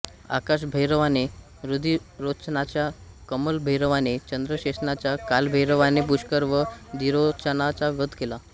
आकाशभैरवाने रुधिरोचनाचा कमलभैरवाने चंद्रसेनाचा कालभैरवाने पुष्कर व धीरोचनाचा वध केला